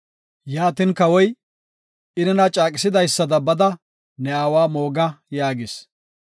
Yaatin Kawoy, “I nena caaqisidaysada bada ne aawa mooga” yaagis.